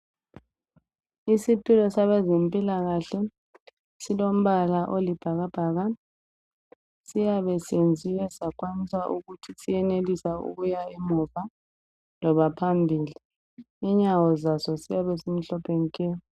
Isitulo sabezempilakahle silombala olibhakabhaka. Siyabesenziwe sakwanisa ukuthi siyenelisa ukuya emuva loba phambili. Inyawo zazo ziyabe zimhlophe nke.